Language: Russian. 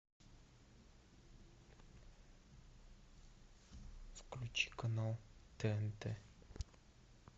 включи канал тнт